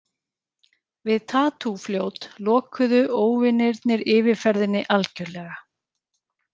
Við Tatú- fljót lokuðu óvinirnir yfirferðinni algjörlega.